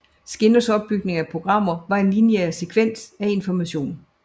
Skinners opbygning af programmer var en lineær sekvens af information